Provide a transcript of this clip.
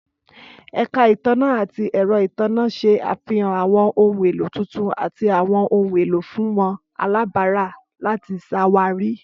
Ẹka itanna ati ẹrọ itanna ṣe afihan àwọn ohun elo tuntun ati àwọn ohun elo fun wọn alabara lati ṣawari.